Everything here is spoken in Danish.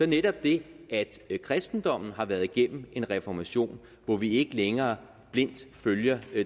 netop det at kristendommen har været igennem en reformation hvor vi ikke længere blindt følger